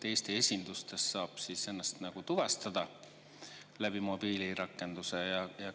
Kas Eesti esindustes saab ennast tuvastada mobiilirakenduse abil?